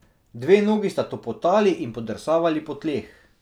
Dve nogi sta topotali in podrsavali po tleh.